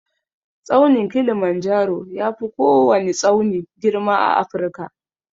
Tsaunin kilimanjaro yafi kowwani tsauni girma a Afirka.